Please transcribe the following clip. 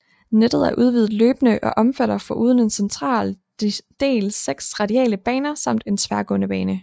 Nettet er udvidet løbende og omfatter foruden en central del 6 radiale baner samt en tværgående bane